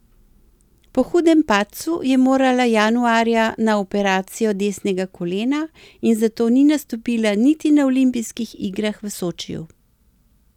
Po hudem padcu je morala januarja na operacijo desnega kolena in zato ni nastopila niti na olimpijskih igrah v Sočiju.